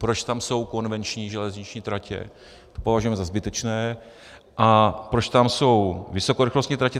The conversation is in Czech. Proč tam jsou konvenční železniční tratě, to považujeme za zbytečné, a proč tam jsou vysokorychlostní tratě?